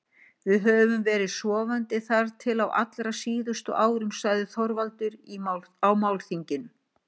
Við höfum verið sofandi þar til á allra síðustu árum, sagði Þorvaldur á málþinginu.